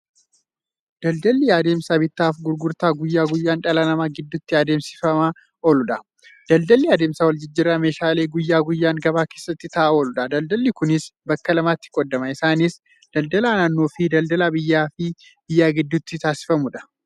Daldalli adeemsa bittaaf gurgurtaa guyyaa guyyaan dhala namaa gidduutti adeemsifamaa ooludha. Daldalli adeemsa waljijjiirraa meeshaalee guyyaa guyyaan gabaa keessatti ta'aa ooludha. Daldalli Kunis bakka lamatti qoodama. Isaanis; daldala naannoofi daldala biyyaaf biyya gidduutti taasifamuudha.